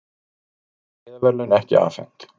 Friðarverðlaun ekki afhent